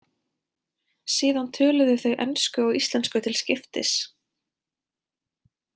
Síðan töluðu þau ensku og íslensku til skiptis.